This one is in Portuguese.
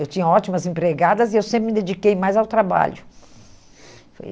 Eu tinha ótimas empregadas e eu sempre me dediquei mais ao trabalho. Foi